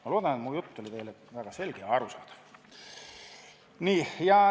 Ma loodan, et mu jutt oli väga selge ja arusaadav.